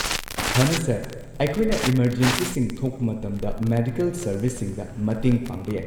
ꯐꯅꯤ, ꯁꯔ꯫ ꯑꯩꯈꯣꯏꯅ ꯏꯃꯔꯖꯦꯟꯁꯤꯁꯤꯡ ꯊꯣꯛꯄ ꯃꯇꯝꯗ ꯃꯦꯗꯤꯀꯦꯜ ꯁꯔꯕꯤꯁꯁꯤꯡꯗ ꯃꯇꯦꯡ ꯄꯥꯡꯕ ꯌꯥꯏ꯫